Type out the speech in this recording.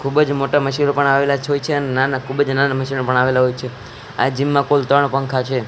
ખૂબજ મોટા મશીનો પણ આવેલાજ હોય છે અન નાના ખૂબજ નાના મશીનો પણ આવેલા હોય છે આ જીમ માં કુલ ત્રણ પંખા છે.